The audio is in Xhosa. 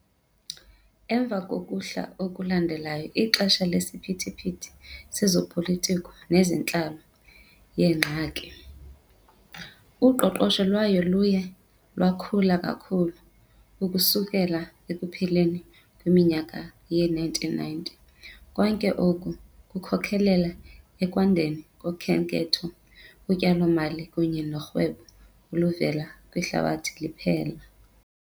Emva kokuhla okulandela ixesha lesiphithiphithi sezopolitiko nezentlalo "yeeNgxaki" , uqoqosho lwayo luye lwakhula kakhulu ukususela ekupheleni kweminyaka yee-1990 . Konke oku kukhokelele ekwandeni kokhenketho, utyalo-mali kunye norhwebo oluvela kwihlabathi liphela.